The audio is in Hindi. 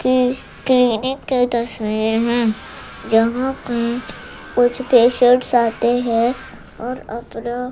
कि क्लीनिक की तस्वीर हैं जहां पे कुछ पेशेंट्स आते हैं और अपना--